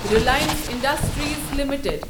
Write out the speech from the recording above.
Reliance Industries limited